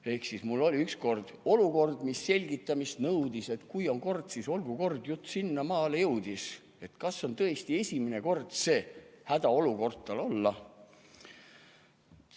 Ehk siis: mul oli ükskord olukord, mis selgitamist nõudis, et kui on kord, siis olgu kord, jutt sinnamaale jõudis, et kas on tõesti esimene kord, see hädaolukord tal olla ...